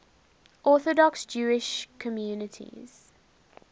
orthodox jewish communities